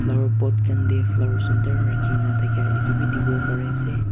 aro pot khan tae flowers sunder rakhina thaka edu bi dikhiwo parease.